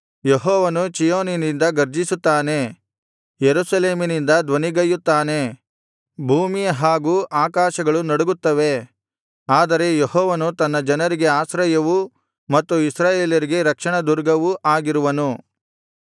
ಯೆಹೋವನು ಚೀಯೋನಿನಿಂದ ಗರ್ಜಿಸುತ್ತಾನೆ ಯೆರೂಸಲೇಮಿನಿಂದ ಧ್ವನಿಗೈಯುತ್ತಾನೆ ಭೂಮಿ ಹಾಗು ಆಕಾಶಗಳು ನಡುಗುತ್ತವೆ ಆದರೆ ಯೆಹೋವನು ತನ್ನ ಜನರಿಗೆ ಆಶ್ರಯವೂ ಮತ್ತು ಇಸ್ರಾಯೇಲರಿಗೆ ರಕ್ಷಣದುರ್ಗವೂ ಆಗಿರುವನು